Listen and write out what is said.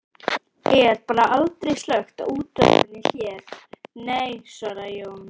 Er bara aldrei slökkt á útvarpinu hér, nei, svaraði Jón